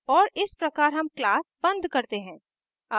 और इस प्रकार हम class and करते हैं